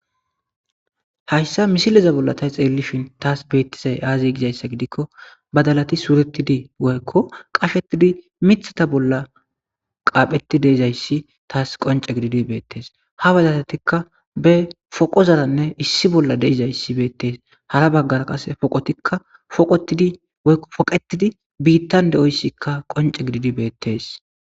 hayssa misileza bolla ta xeellishin taas beettizay aazi gizayssa gidikko badalati suuretidi woykko qashetidi mithata bolla qaapheti deizayssi taas qonce gididi beettes ha bazatatikka be foqozaranne issi bolla deizayssi beettes hara baggara qase poqotikka foqetidi biittan de7oyssikka qonce gididi beettes